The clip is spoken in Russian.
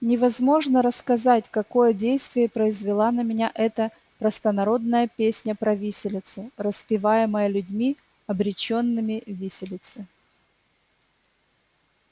невозможно рассказать какое действие произвела на меня эта простонародная песня про виселицу распеваемая людьми обречёнными виселице